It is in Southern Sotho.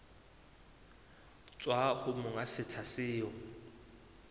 tswa ho monga setsha seo